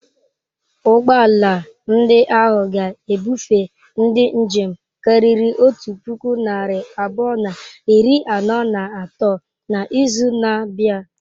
Ụgbọ ala ndị ahụ ga-ebufe ndị njem karịrị otu puku narị abụọ na iri anọ na atọ n'izu na-abịa.